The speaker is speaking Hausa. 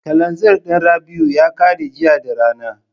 Kalanzir ɗin Rabi'u ya ƙare jiya da rana.